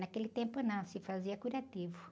Naquele tempo não, se fazia curativo.